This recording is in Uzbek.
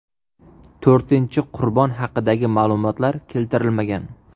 To‘rtinchi qurbon haqidagi ma’lumotlar keltirilmagan.